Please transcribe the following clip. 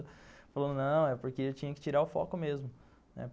Falou, não, é porque eu tinha que tirar o foco mesmo, né?